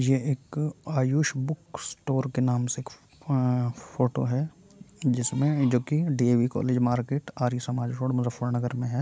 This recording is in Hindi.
यह एक आयुष बुक स्टोर के नाम से अअअ फोटो है जिसमें जोकि DAV college market Arya Samaj road Muzaffarnagar में है।